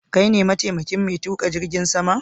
Kai ne ma taimakin mai tuƙa jirgin sama?